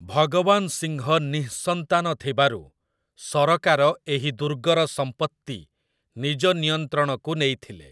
ଭଗବାନ ସିଂହ ନିଃସନ୍ତାନ ଥିବାରୁ ସରକାର ଏହି ଦୁର୍ଗର ସମ୍ପତ୍ତି ନିଜ ନିୟନ୍ତ୍ରଣକୁ ନେଇଥିଲେ ।